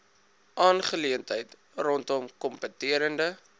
aangeleentheid rondom kompeterende